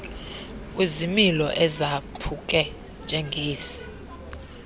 kwizimilo ezaphuke njengezi